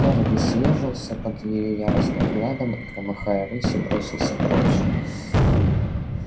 эрби съёжился под её яростным взглядом и громыхая рысью бросился прочь